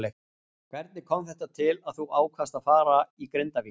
Hvernig kom þetta til að þú ákvaðst að fara í Grindavík.